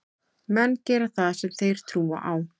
Menn gera það sem þeir trúa á.